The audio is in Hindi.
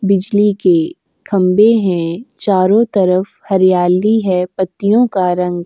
बिजली के खंबे हैं। चारों तरफ हरियाली है। पत्तियों का रंग --